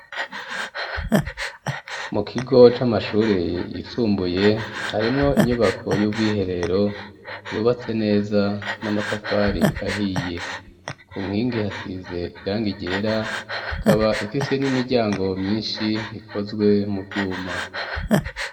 Mu kigo c'amashuri yisumbuye harimwo inyubako y'ubwiherero yubatse neza n'amatafari ahiye, ku nkingi hasize irangi ryera ikaba ifise n'imiryango myishi ikozwe mu vyuma.